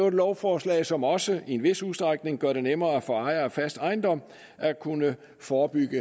et lovforslag som også i en vis udstrækning gør det nemmere for ejere af fast ejendom at kunne forebygge